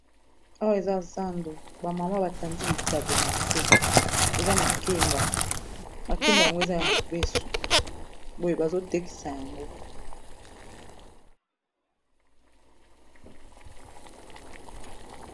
Awa eza zando ba mama ba tandi bitabe na se eza makemba, makemba yango eza ya mobeso boye bazo tekisa yango.